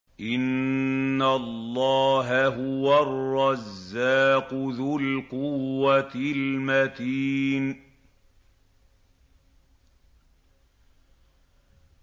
إِنَّ اللَّهَ هُوَ الرَّزَّاقُ ذُو الْقُوَّةِ الْمَتِينُ